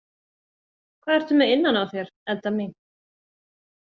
Hvað ertu með innan á þér, Edda mín?